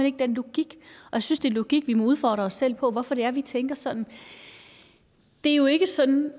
ikke den logik jeg synes det er logik at vi må udfordre os selv og spørge hvorfor det er vi tænker sådan det er jo ikke sådan